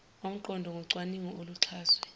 omqondo ngocwaningo oluxhaswe